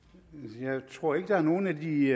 jeg tror ikke der er nogen af de